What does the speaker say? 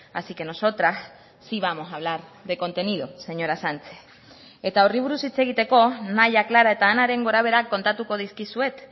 así que nosotras sí vamos a hablar de contenido señora sánchez eta horri buruz hitz egiteko nahia clara eta anaren gorabeherak kontatuko dizkizuet